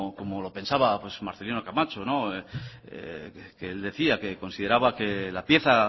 como lo que pensaba pues marcelino camacho que decía que consideraba que la pieza